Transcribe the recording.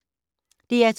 DR2